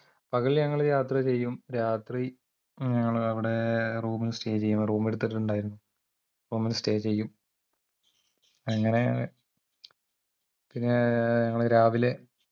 പകൽ ഞങ്ങൾ യാത്ര ചെയ്യും രാത്രി ഞങ്ങള് അവിടെ room stay ചെയ്യും room എടുത്തിട്ടുണ്ടായിരുന്ന് അപ്പമ്മൾ stay ചെയ്യും അങ്ങനെ പിന്നേ ഞങ്ങള് രാവിലെ